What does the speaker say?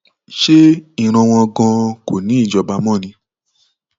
ṣe ìran wọn ganan kọ ní í jọba mọ ni